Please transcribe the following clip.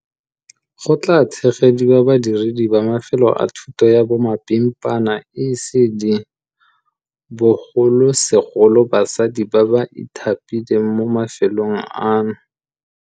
Go tla tshegediwa badiredi ba mafelo a thuto ya bomapimpana, ECD, bogolosegolo basadi ba ba ithapileng mo mafelong ano.